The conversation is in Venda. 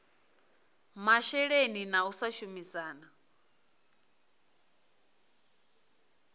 masheleni na u sa shumisana